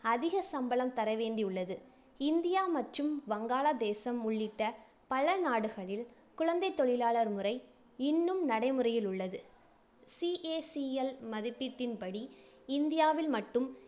அதிக சம்பளம் தரவேண்டியுள்ளது. இந்தியா மற்றும் வங்காளதேசம் உள்ளிட்ட பல நாடுகளில் குழந்தைத் தொழிலாளர் முறை இன்னும் நடைமுறையில் உள்ளது. CACL மதிப்பீட்டின்படி இந்தியாவில் மட்டும்